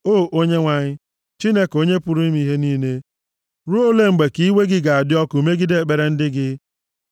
O Onyenwe anyị, Chineke, Onye pụrụ ime ihe niile ruo ole mgbe ka iwe gị ga-adị ọkụ megide ekpere ndị gị?